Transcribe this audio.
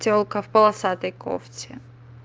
тёлка в полосатой кофте